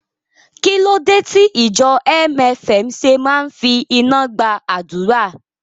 Kí ló dé tí ìjọ MFM ṣe máa ń fi iná gba àdúrà?